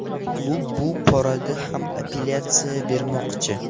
Klub bu borada ham apellyatsiya bermoqchi.